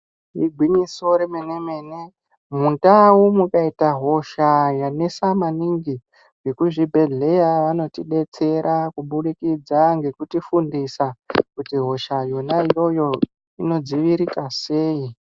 Igwinyiso remene mene mundau mukaita hosha yanesa maningi vekuzvibhehleya vanotidetsera kubudiķidza ngekuti fundisa kuti hosha yona iyoyo inodzivirika sei.